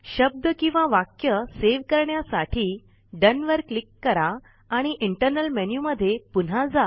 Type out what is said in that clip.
शब्द किंवा वाक्य सेव करण्यासाठी डोन वर क्लिक करा आणि इंटरनल मेन्यु मध्ये पुन्हा जा